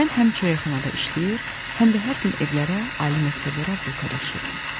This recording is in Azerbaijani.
Mən həm çörəkxanada işləyir, həm də hər gün evlərə, ali məktəblərə bulka daşıyırdım.